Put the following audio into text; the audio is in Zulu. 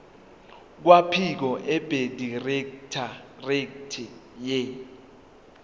kwabophiko abedirectorate ye